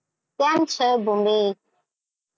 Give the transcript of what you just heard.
કેમ છે ભૂમિ?